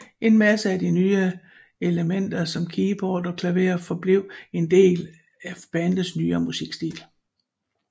En masse af de nye elemnter som keyboard og klaver forblev en del af bandets nyere musikstil